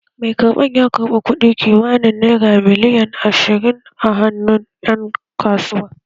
Mai karɓan ya karɓi kuɗi kimanin naira miliyan ashirin a hannun ƴan kasuwa